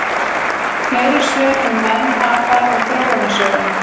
Fleiri svör um menn, apa og þróunarsöguna: